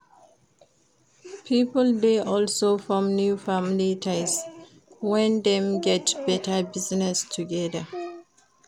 Pipo de also form new family ties when dem get better business together